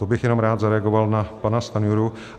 To bych jenom rád zareagoval na pana Stanjuru.